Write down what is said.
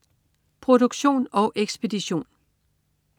Produktion og ekspedition: